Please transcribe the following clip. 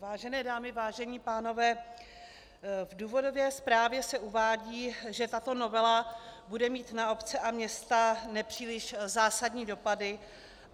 Vážené dámy, vážení pánové, v důvodové zprávě se uvádí, že tato novela bude mít na obce a města nepříliš zásadní dopady.